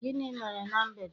Gịnị mere ná mgbede?